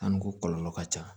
An dun ko kɔlɔlɔ ka ca